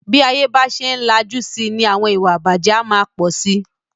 Bí ayé bá ṣe ń lajú síi ni àwọn ìwà ìbàjé a máa pọ̀ sí.